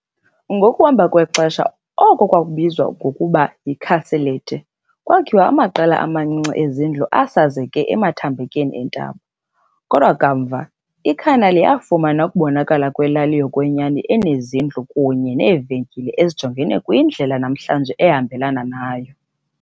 Ngokuhamba kwexesha, oko kubizwa ngokuba yi "castelletti" kwakhiwa, amaqela amancinci ezindlu asasazeke emathambekeni entaba, kodwa kamva iCanale yafumana ukubonakala kwelali yokwenyani, enezindlu kunye neevenkile ezijonge kwindlela namhlanje ehambelana nayo.